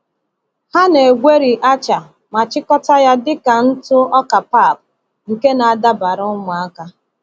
Ha na-egweri acha ma chịkọta ya dịka ntụ ọka pap nke na-adabara ụmụaka.